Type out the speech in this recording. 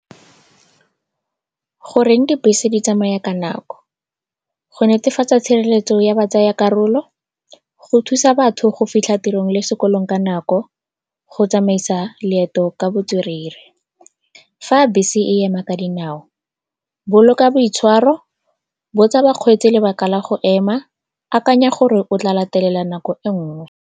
Goreng dibese di tsamaya ka nako? Go netefatsa tshireletso ya batsayakarolo, go thusa batho go fitlha tirong le sekolong ka nako, go tsamaisa leeto ka botswerere. Fa bese e ema ka dinao, boloka boitshwaro, botsa bakgweetsi lebaka la go ema, akanya gore o tla latelela nako e nngwe.